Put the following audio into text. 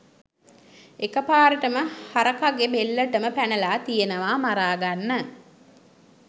එකපාරටම හරකගේ බෙල්ලටම පැනලා තියෙනවා මරාගන්න.